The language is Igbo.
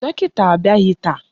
Dọkịta abịaghị taa.